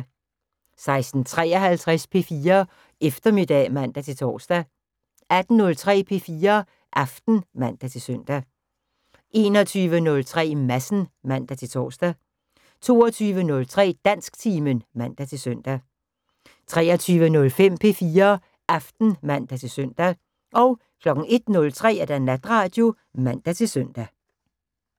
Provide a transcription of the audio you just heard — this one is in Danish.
16:53: P4 Eftermiddag (man-tor) 18:03: P4 Aften (man-søn) 21:03: Madsen (man-tor) 22:03: Dansktimen (man-søn) 23:05: P4 Aften (man-søn) 01:03: Natradio (man-søn)